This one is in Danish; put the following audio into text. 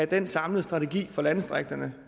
den samlede strategi for landdistrikterne